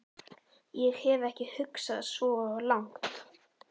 Ég hef ekki hugsað svo langt.